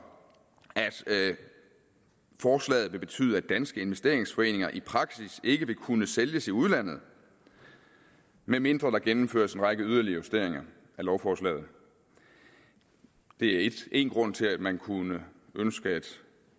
at forslaget vil betyde at danske investeringsforeninger i praksis ikke vil kunne sælges i udlandet medmindre der gennemføres en række yderligere justeringer af lovforslaget det er én grund til at man kunne ønske at